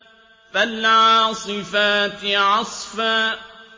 فَالْعَاصِفَاتِ عَصْفًا